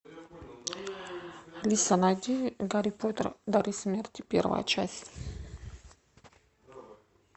алиса найди гарри поттер дары смерти первая часть